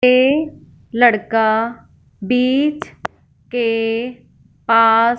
ये लड़का बीच के पास--